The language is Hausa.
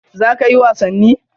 Za kayi wasanni?